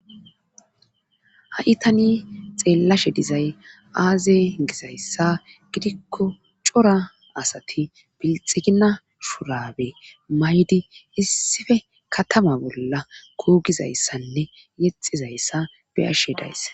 ha'i tani xeellashe dizay aaze gizayssa gidikko cora asati bilxigina shurabe maydi issife katama bolla kuugizayssanne yexizayssa beyashe dayss